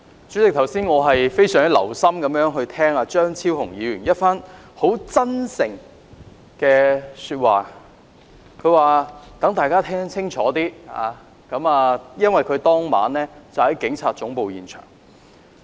主席，我剛才非常留心聆聽張超雄議員一番很"真誠"的發言，他說要讓大家清楚情況，因為他當晚在警察總部現場。